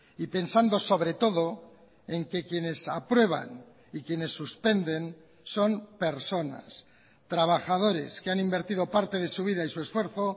y pensando sobre todo en que quienes aprueban y quienes suspenden son personas trabajadores que han invertido parte de su vida y su esfuerzo